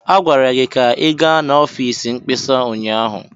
Agwara gị ka ị gaa n'ọfịs mkpesa ụnyaahụ!